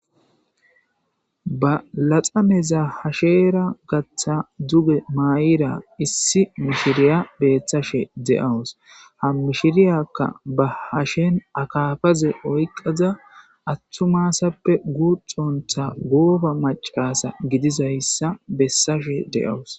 Ba laxaneza hashera gatha duge myida issi mishirya beetashe de'awusi, Ha mishiriyaka ba hasheni akafaze oykada atuma asappe guxonta gooba macasha gidizaysa besashe de'awusi.